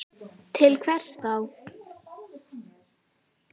Til hvers þá?